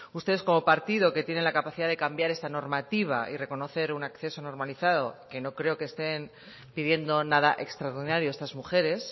ustedes como partido que tienen la capacidad de cambiar esta normativa y reconocer un acceso normalizado que no creo que estén pidiendo nada extraordinario estas mujeres